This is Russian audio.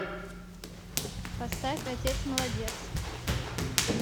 поставь отец молодец